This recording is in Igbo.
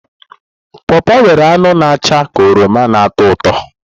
pọọpọ nwere anụ na acha ka oroma na ụtọ ụtọ.